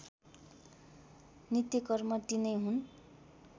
नित्यकर्म तिनै हुन्